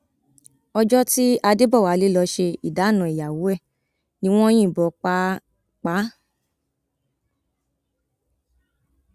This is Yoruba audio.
ọjọ tí adébọwálé lọọ ṣe ìdáná ìyàwó ẹ ni wọn yìnbọn pa á pa á